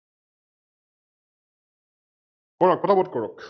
কৰক পতা পত কৰক?